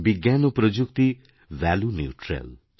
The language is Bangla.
বিজ্ঞান ও প্রযুক্তি ভ্যালুনিউট্রাল